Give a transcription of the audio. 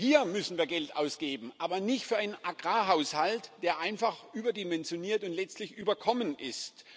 Hier müssen wir Geld ausgeben, aber nicht für einen Agrarhaushalt, der einfach überdimensioniert und letztlich überkommen ist.